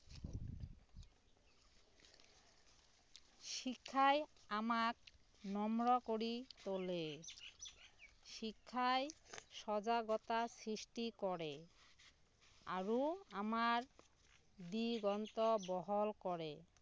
শিক্ষায় আমাক নম্ৰ কৰি তোলে শিক্ষায় সজাগতা সৃষ্টি কৰে আৰু আমাৰ দিগন্ত বহল কৰে